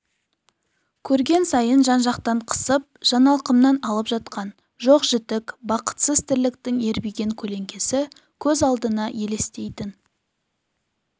көрген сайын жан-жақтан қысып жаналқымнан алып жатқан жоқ-жітік бақытсыз тірліктің ербиген көлеңкесі көз алдына елестейтін